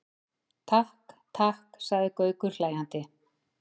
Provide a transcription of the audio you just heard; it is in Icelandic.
Takk, takk sagði Gaukur hlæjandi.